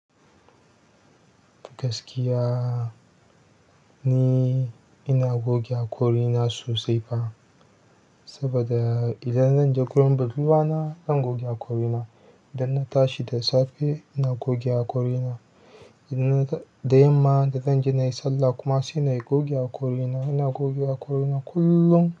Gaskiya ni ina goge haƙorina sosai fa, saboda idan zan je gurin budurwa na, zan goge haƙorina. Idan na tashi da safe, ina goge haƙorina. Da yamma da zan je na yi sallah kuma sai na goge haƙorina. Ina goge haƙorina kullum.